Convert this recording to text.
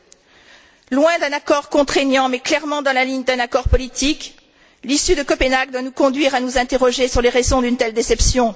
2 Loin d'un accord contraignant, mais clairement dans la ligne d'un accord politique, l'issue de Copenhague doit nous conduire à nous interroger sur les raisons d'une telle déception.